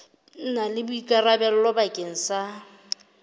na le boikarabelo bakeng sa